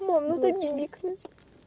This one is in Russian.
ну такие